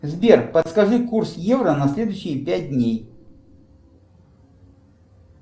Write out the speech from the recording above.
сбер подскажи курс евро на следующие пять дней